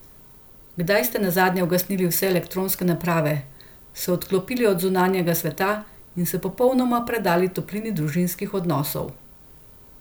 Kdaj ste nazadnje ugasnili vse elektronske naprave, se odklopili od zunanjega sveta in se popolnoma predali toplini družinskih odnosov?